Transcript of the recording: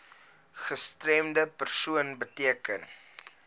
gestremde persoon beteken